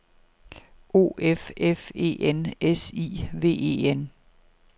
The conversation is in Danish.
O F F E N S I V E N